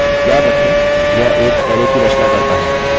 याद रखें यह एक अरै की रचना करता है